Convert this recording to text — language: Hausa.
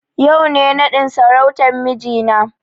Yau ne raɗin sarautan mijina na